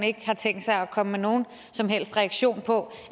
ikke har tænkt sig at komme med nogen som helst reaktion på